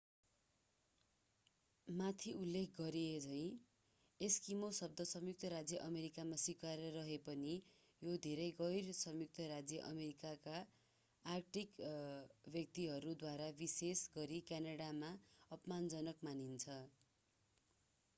माथि उल्लेख गरिएझैं एस्किमो शब्द संयुक्त राज्य अमेरिकामा स्वीकार्य रहे पनि यो धेरै गैर-संयुक्त राज्य अमेरिकाका आर्कटिक व्यक्तिहरूद्वारा विशेष गरी क्यानाडामा अपमानजनक मानिन्छ।